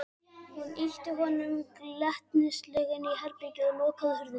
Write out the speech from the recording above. Hún ýtti honum glettnislega inn í herbergið og lokaði hurðinni.